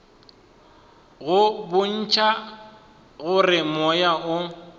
go bontšha gore moya o